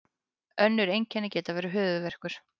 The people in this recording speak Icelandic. önnur einkenni geta verið höfuðverkur